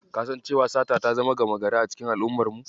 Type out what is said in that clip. Ka san cewa sata ta zama gama gari a cikin al'ummar mu?